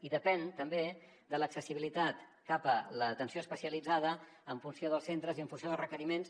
i depèn també de l’accessibilitat cap a l’atenció especialitzada en funció dels centres i en funció dels requeriments